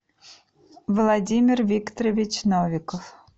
владимир викторович новиков